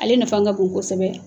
Ale nafa ka kosɛbɛ